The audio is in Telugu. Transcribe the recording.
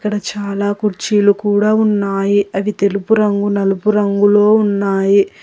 ఇక్కడ చాలా కుర్చీలు కూడా ఉన్నాయి అవి తెలుపు రంగు నలుపు రంగులో ఉన్నాయి.